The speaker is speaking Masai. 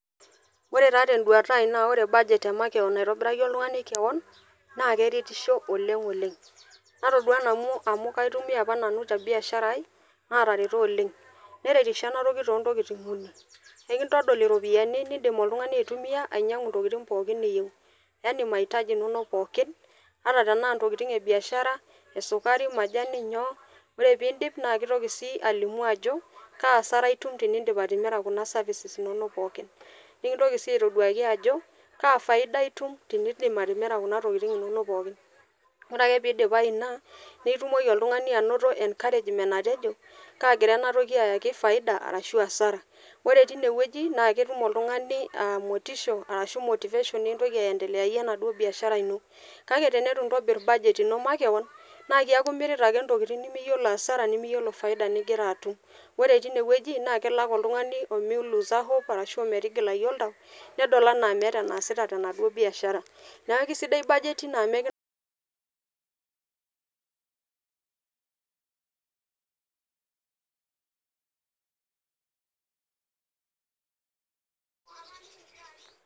Ore taa tenduata ai naa ore bajeti emakewon naitobiraki oltungani kewon naa keretisho oleng oleng natodua nanu amu kaitumiya apa nanu te biashara ai naatareto oleng, neretisho ena toki too ntokitin uni, enkitodol iropiyiani nindim oltungani aitumiya ainyangu ntokitin pookin niyieu yaani maitaji inonok pookin, ata tenaa ntokitin e biashara esukari, majani nyoo, ore pee iindip naa keitoki sii alimu ajo kaa asara itum tenindip atimira kuna services inonok pookin, nikintoki sii aitoduaki ajo kaa faida itum tenindip atimira kuna tokitin inonok pookin , ore pee eidipayu ina naa itumoki oltungani anoto encouragement atejo kaagira ena toki ayaki faida arashu asara ,ore eine wueji na ketum oltungani motisha aashu motivation nintoki aendeleyayie enaduoo biashara ino, kake teneitu intobirr budget ino makewon naa keeku imira ake ntokitin nimiyiolo asara nimiyiolo faida ningira atum, ore teine wueji naa kelo ake oltungani omei loose hope aashu ometigilai oltau nedol anaa meeta anaasita tenaduo biashara, neeku keisidai budget ino amu